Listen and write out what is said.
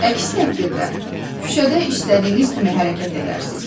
Əks təqdirdə küçədə istədiyiniz kimi hərəkət edərsiz.